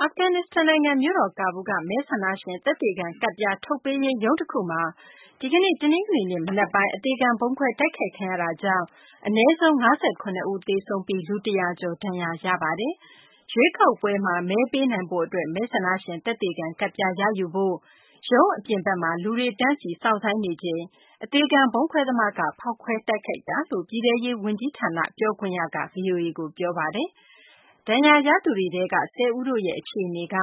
အာဖဂန်နစ္စတန် နိုင်ငံ မြို့တော် ကာဘူးလ်းက မဲဆန္ဒရှင် သက်သေခံ ကဒ်ပြား ထုတ်ပေးရေးရုံး တခုမှာ ဒီကနေ့ တနင်္ဂနွေနေ့ မနက်ပိုင်း အသေခံ ဗုံးခွဲ တိုက်ခိုက်ခံရတာကြောင့် အနည်းဆုံး ၄၈ ဦး သေဆုံးပြီး လူ ၁၀၀ ကျော် ဒဏ်ရာရပါတယ်။ ရွေးကောက်ပွဲမှာ မဲပေးနိုင်ဖို့ အတွက် မဲဆန္ဒရှင် သက်သေခံ ကဒ်ပြား ရယူဖို့ ရုံး အပြင်ဘက်မှာ လူတွေ တန်းစီ စောင့်ဆိုင်းနေချိန်မှာ အသေခံ ဗုံးခွဲသမားက ဖောက်ခွဲတိုက်ခိုက်ခဲ့တာလို့ ပြည်ထဲရေး ဝန်ကြီးဌာန ပြောခွင့်ရ Najeeb Danish က ဗွီအိုအေကို ပြောပါတယ်။ ဒဏ်ရာရသူတွေထဲက ၁၀ ဦးရဲ့ အခြေအနေက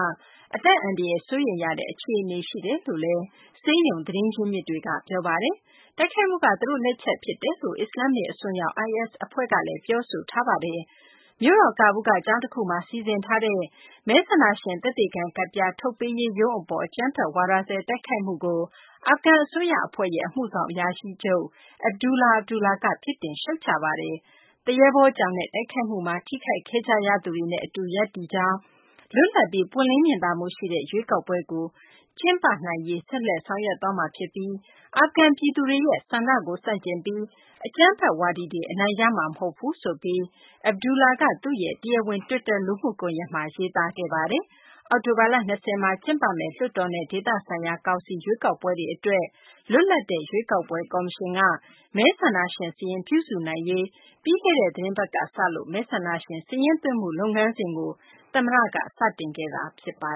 အသက်အန္တရာယ် စိုးရိမ်ရတဲ့ အခြေအနေ ရှိကြောင်း ဆေးရုံ သတင်းရင်းမြစ်တွေက ပြောပါတယ်။ တိုက်ခိုက်မှုက သူတို့ လက်ချက်ဖြစ်တယ်လို့ အစ္စလာမ္မစ် အစွန်းရောက် IS အဖွဲ့က ပြောဆိုထားပါတယ်။ မြို့တော် ကာဘူလ်းက ကျောင်းတခုမှာ စီစဉ်ထားတဲ့ မဲဆန္ဒရှင် သက်သေခံ ကဒ်ပြား ထုတ်ပေးရေးရုံး အပေါ် အကြမ်းဖက်ဝါဒစွဲ တိုက်ခိုက်မှုကို အာဖဂန် အစိုးရ အဖွဲ့ရဲ့ အမှုဆောင်အရာရှိချုပ် Abdullah Abdullah က ပြစ်တင် ရှုတ်ချပါတယ်။ သရဲဘောကြောင်တဲ့ တိုက်ခိုက်မှုမှာ ထိခိုက်ခဲ့ကြရသူတွေနဲ့ အတူ ရပ်တည်ကြောင်း၊ လွတ်လပ်ပြီး ပွင့်လင်းမြင်သာမှုရှိတဲ့ ရွေးကောက်ပွဲကို ကျင်းပရေး ဆက်လက် ဆောင်ရွက်သွားမှာ ဖြစ်ပြီး အာဖဂန် ပြည်သူတွေရဲ့ ဆန္ဒကိုဆန့်ကျင်ပြီး အကြမ်းဖက်ဝါဒီတွေ အနိုင်ရမှာ မဟုတ်ဘူးဆိုပြီး Abdullah က သူ့ရဲ့ တရားဝင် တွစ်တာ လူမှုကွန်ယက်မှာ ရေးသားခဲ့ပါတယ်။ အောက်တိုဘာလ ၂၀ မှာ ကျင်းပမယ့် လွှတ်တော်နဲ့ ဒေသဆိုင်ရာ ကောင်စီ ရွေးကောက်ပွဲတွေ အတွက် လွတ်လပ်တဲ့ ရွေးကောက်ပွဲ ကော်မရှင်က မဲဆန္ဒရှင် စာရင်းပြုစုနိုင်ရေး အတွက် ပြီးခဲ့တဲ့ သတင်းပတ်ကစလို့ မဲဆန္ဒရှင် စာရင်းသွင်းမှု လုပ်ငန်းစဉ်ကို သမ္မတ Ashraf Ghani က စတင်ခဲ့တာပါ